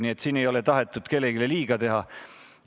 Nii et siin ei ole tahetud kellelegi liiga teha.